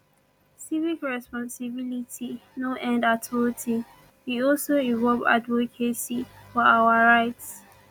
civic responsibility no end at voting e also involve advocacy for our rights